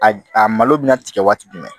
A a malo bɛna tigɛ waati jumɛn